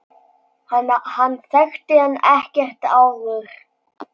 Hann þekkti hann ekkert áður.